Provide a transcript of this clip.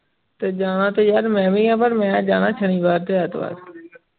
ਤੇ ਜਾਣਾ ਤੇ ਯਾਰ ਮੈਂ ਵੀ ਇਹ ਪਾਰ ਮੈਂ ਜਾਣਾ ਸ਼ਨੀਵਾਰ ਤੇ ਐਤਵਾਰ